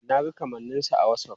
Na ga kamanninsa a Whatsapp.